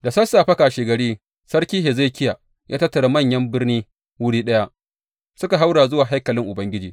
Da sassafe kashegari Sarki Hezekiya ya tattara manyan birni wuri ɗaya, suka haura zuwa haikalin Ubangiji.